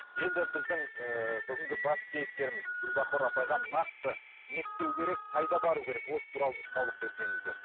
енді біздің ыыы бүгінгі басты кейіпкеріміз гүлбахор апайға нақты не істеу керек қайда бару керек осы туралы нұсқаулық берсеңіздер